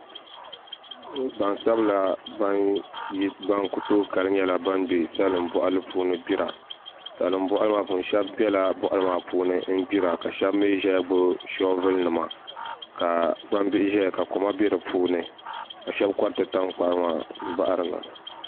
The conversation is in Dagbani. Gbansabila ban kutooi kali n be salinbɔɣu li puuni gbira sheb bela boɣali maa puuni gbira ka sheb mɛi zeya gbibi shobulu nima ka gbambihi zeya ka lima beri puuni ka shɛb korti tankpaɣu maa bari na